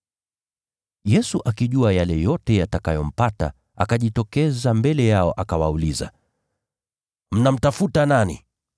Yesu akijua yale yote yatakayompata, akajitokeza mbele yao akawauliza, “Mnamtafuta nani?”